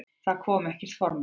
Það kom ekkert formlegt.